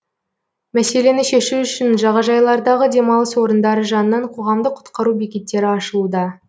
мәселені шешу үшін жағажайлардағы демалыс орындары жанынан қоғамдық құтқару бекеттері ашылуда